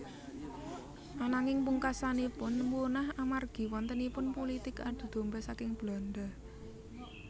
Ananging pungaksanipun punah amargi wontenipun pulitik adu domba saking Belanda